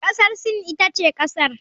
Kasar Sin ita ce kasar.